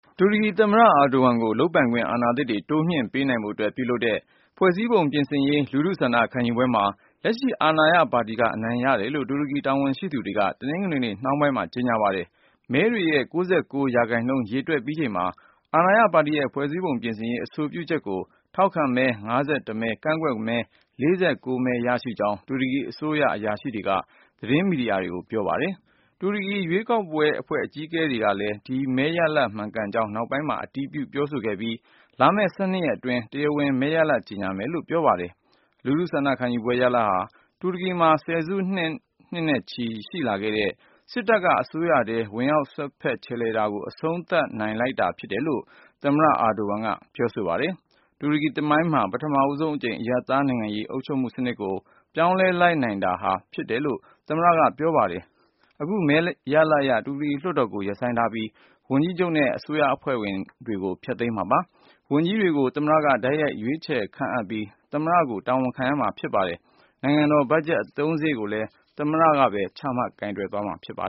တူရကီသမ္မတ Recep Tayyip Erdogan ကို လုပ်ပိုင်ခွင့် အာဏာသစ်တွေ တိုးမြှင့်ပေးနိုင်ဖို့အတွက် ပြုလုပ်တဲ့ ဖွဲ့စည်းပုံပြင်ဆင်ရေး လူထုဆန္ဒ ခံယူပွဲမှာ လက်ရှိအာဏာရပါတီက အနိုင်ရတယ်လို့ တူရကီတာဝန်ရှိသူတွေက တနင်္ဂနွေနေ့ နှောင်းပိုင်းက ကြေညာပါတယ်။ မဲတွေရဲ့ ၉၉ ရာခိုင်နှုန်း ရေတွက်ပြီးချိန်မှာ အာဏာရပါတီရဲ့ ဖွဲ့စည်းပုံပြင်ဆင်ရေး အဆိုပြုချက်ကို ထောက်ခံမဲ ၅၁ မဲရှိပြီး ကန့်ကွက်မဲကတော့ ၄၉မဲ ရှိတဲ့အကြောင်း တူရကီအစိုးရ အရာရှိတွေက သတင်းမီဒီယာတွေကို ပြောကြားခဲ့ပါတယ်။ တူရကီ ရွေးကောက်ပွဲ ဘုတ်အဖွဲ့ အကြီးအကဲကလည်း ဒီမဲရလဒ်တွေ မှန်ကန်ကြောင်းကို နောက်ပိုင်းမှာ အတည်ပြု ပြောဆိုခဲ့ပြီး လာမယ့် ၁၂ ရက်အတွင်း တရားဝင် မဲရလဒ်တွေ ကြေညာပေးမယ့်အကြောင်း ပြောပါတယ်။ လူထုဆန္ဒခံယူပွဲရဲ့ ရလဒ်ဟာ တူရကီမှာ ဆယ်စုနှစ်တွေနဲ့ချီ ရှိလာခဲ့တဲ့ စစ်တပ်က အစိုးရထဲမှာ ကြားဝင်စွက်ဖက် ခြယ်လှယ်တာတွေကိုလည်း အဆုံးသတ်နိုင်လိုက်တာ ဖြစ်တယ်လို့ သမ္မတ အာဒိုဝမ်က ပြောပါတယ်။ တူရကီသမိုင်းမှာ ပထမဆုံးအကြိမ် အရပ်သားနိုင်ငံရေး အုပ်ချုပ်မှုစနစ်ကို ပြောင်းလဲလိုက်နိုင်တာ ဖြစ်တယ်လို့လည်း သမ္မတက ပြောပါတယ်။ အခု မဲရလဒ်အရ တူရကီလွှတ်တော်ကို ရပ်ဆိုင်းပြီး ဝန်ကြီးချုပ်နဲ့ အစိုးရအဖွဲ့ဝင်တွေကို ဖျက်သိမ်းပစ်မှာပါ။ ဝန်ကြီးတွေကို သမ္မတက တိုက်ရိုက် ရွေးချယ်ခန့်အပ်ပြီး သမ္မတကို တာဝန်ခံရမှာဖြစ်ပါတယ်။ နိုင်ငံတော် ဘတ်ဂျက်အသုံးစရိတ်ကိုလည်း သမ္မတကပဲ ချမှတ် ကိုင်တွယ်သွားမှာပါ